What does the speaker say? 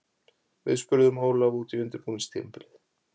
Við spurðum Ólaf út í undirbúningstímabilið.